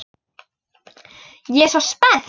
Ég er svo spennt.